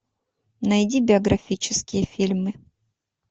найди биографические фильмы